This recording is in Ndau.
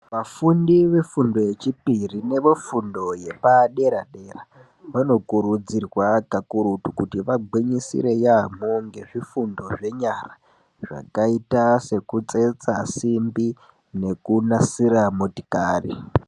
Vafundi vefundo yechipiri nevefundo yepadera dera vanokurudzirwa kakurutu kuti vagwinyisire yaambho ngezvifundo zvenyara zvakaite sekutsetsa simbi nekunasira motikari.